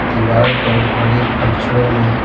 दीवार पर बड़े अक्षरों में--